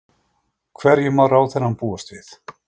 Hverju má ráðherrann búast við?